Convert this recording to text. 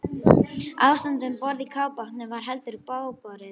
Ástandið um borð í kafbátnum var heldur bágborið.